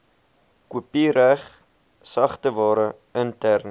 kopiereg sagteware interne